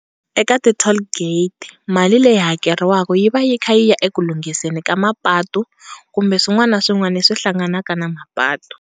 Eka ti-tall gate mali leyi hakeriwaka yi va yi kha yi ya eku lunghiseni ka mapatu kumbe swin'wana na swin'wana leswi hlanganaka na mapatu.